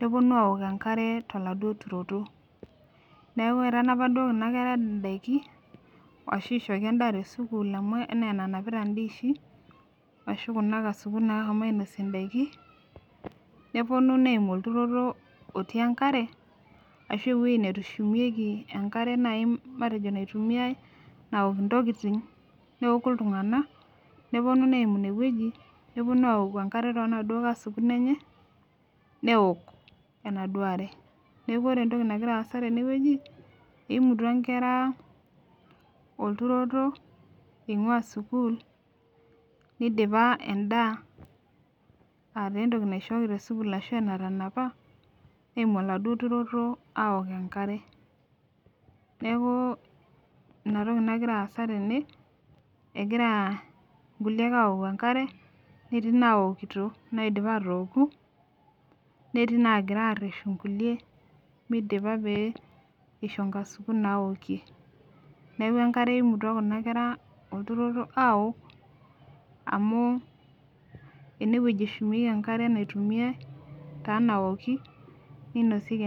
neponu awok enkare toladuo turoto neeku etanapa duo kuna kera indaiki ashu ishooki endaa tesukuul amu enaa enanapita indiishi ashu kuna kasukun nahomo ainosie indaiki neponu neimu olturoto otii enkare ashu ewueji netushumieki enkare naaji matejo naitumiae naok intokiting neoku iltung'anak neponu neimu inewueji neponu awoku enkare tonaduo kasukun enye neok enaduo are neku ore entoki nagira aasa tenewueji eimutua inkera olturoto eing'ua sukuul nidipa endaa aataa entoki naishooki tesukuul ashu enatanapa neimu oladuo turoto awok enkare neeku inatoki nagira aasa tene egira nkuliek awoku enkare netii nawokito naidipa atooku netii naagira arreshu nkulie midipa pee isho inkasukun naokie neeku enkare eimutua kuna kera olturoto awok amu enewueji eshumieki enkare naitumiae taa nawoki ninosieki.